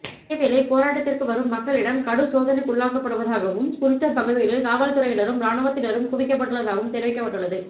இதேவேளை போராட்டத்திற்கு வரும் மக்களிடம் கடும் சோதனைக்குள்ளாக்கப்படுவதாகவும் குறித்த பகுதிகளில் காவல்துறையினரும் இராணுவத்தினரும் குவிக்கப்பட்டுள்ளதாகவும் தெரிவிக்கப்பட்டுள்ளது